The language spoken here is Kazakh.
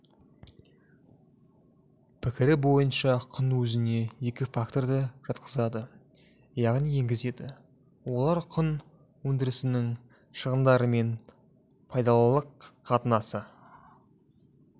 пікірі бойынша құн өзіне екі факторды жатқызады яғни енгізеді олар құн өндірісінің шығындарымен пайдалылық қатынасы